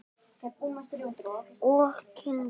Og kyngt.